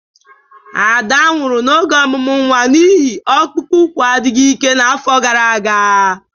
Ada nwụrụ n'oge ọmụmụ nwa n'ihi ọkpụkpụ úkwù adịghị ike n'afọ gara aga.